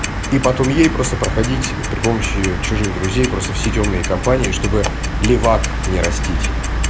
и потом ей просто проходить при помощи чужих друзей просто все тёмные компании чтобы левак не растить